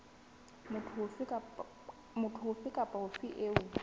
motho ofe kapa ofe eo